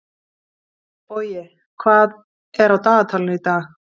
Bogi, hvað er á dagatalinu í dag?